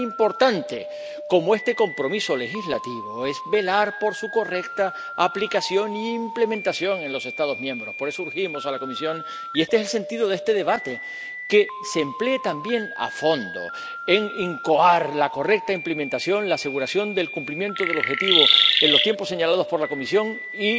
Pero tan importante como este compromiso legislativo es velar por su correcta aplicación e implementación en los Estados miembros. Por eso, urgimos a la Comisión, y este es el sentido de este debate, a que se emplee también a fondo en incoar la correcta implementación, la aseguración del cumplimiento del objetivo en los tiempos señalados por la Comisión